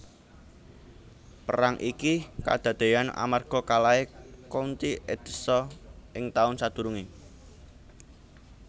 Perang iki kadadéyan amarga kalahé County Edessa ing taun sadurungé